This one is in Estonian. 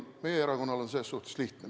Meie erakonnal on selles suhtes lihtne.